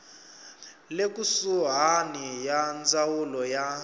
le kusuhani ya ndzawulo ya